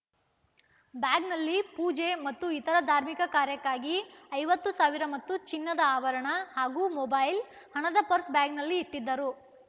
ಬ್ಯಾಗ್‌ನಲ್ಲಿ ಪೂಜೆ ಮತ್ತು ಇತರ ಧಾರ್ಮಿಕ ಕಾರ್ಯಕ್ಕಾಗಿ ಐವತ್ತು ಸಾವಿರ ಮತ್ತು ಚಿನ್ನದ ಆಭರಣ ಹಾಗೂ ಮೊಬೈಲ್‌ ಹಣದ ಪರ್ಸ್‌ ಬ್ಯಾಗಿನಲ್ಲಿ ಇಟ್ಟಿದ್ದರು